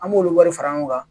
An b'olu wari fara ɲɔgɔn kan